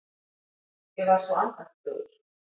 Ég var svo andaktugur.